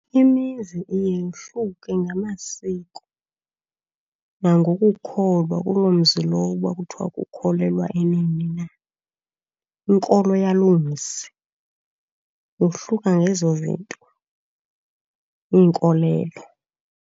Imizi iye yohluke ngamasiko nangokukholwa, kuloo mzi lowo uba kuthiwa kukholelwa enini na. Inkolo yaloo mzi yohluka ngezo zinto, iinkolelo.